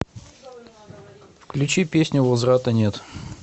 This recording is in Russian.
включи песню возврата нет